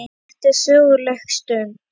Þetta er söguleg stund.